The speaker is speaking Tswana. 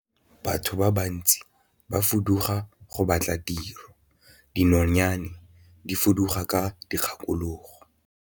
Batho ba bantsi ba fuduga go batla tiro, dinonyane di fuduga ka dikgakologo.